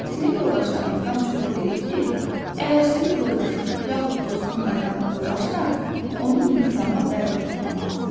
Sinif yoldaşlarımızdan çoxu dedi ki, əgər sinif yoldaşım yaxud dostum qaydanı pozarsa, onu intizama dəvət etmək lazımdır.